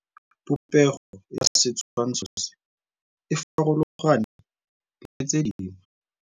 Popêgo ya setshwantshô se, e farologane le tse dingwe.